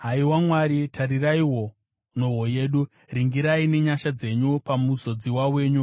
Haiwa Mwari, tariraiwo nhoo yedu; ringirai nenyasha dzenyu pamuzodziwa wenyu.